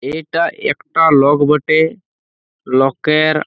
ইটা একটা লক বটে। লক এর--